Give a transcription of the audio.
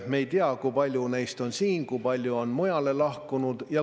Me ei tea, kui paljud neist on siin ja kui paljud on lahkunud.